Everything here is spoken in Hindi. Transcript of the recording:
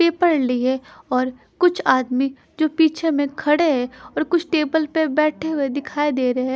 पेपर ली है और कुछ आदमी जो पीछे में खड़े हैं और कुछ टेबल पे बैठे हुए दिखाई दे रहे--